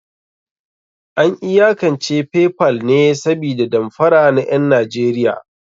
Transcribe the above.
An iyakance Paypal ne sabida damfara na ƴan Najeriya.